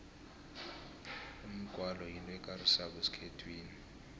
umgwalo yinto ekarisako esikhethwini